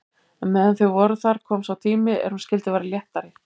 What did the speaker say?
En meðan þau voru þar kom sá tími er hún skyldi verða léttari.